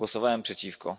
Głosowałem przeciwko.